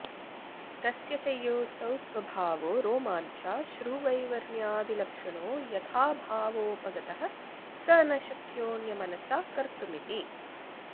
तस्य च योऽसौ स्वभावो रोमाञ्चाश्रुवैवर्ण्यादिलक्षणो यथाभावोपगतः स न शक्योऽन्यमनसा कर्तुमिति